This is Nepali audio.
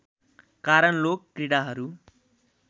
कारण लोक क्रीडाहरू